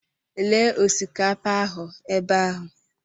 Lee osikapa ahụ ebe ahụ.